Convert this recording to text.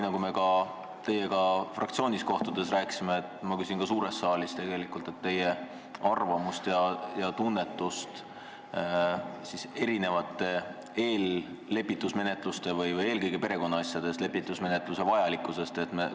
Me teiega fraktsioonis kohtudes sellest rääkisime, aga ma küsin ka suures saalis teie arvamust ja tunnetust eellepitusmenetluse kohta, eelkõige lepitusmenetluse vajalikkuse kohta perekonnaasjades.